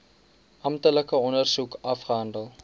amptelike ondersoek afgehandel